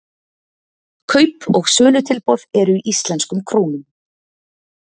Kaup- og sölutilboð eru í íslenskum krónum.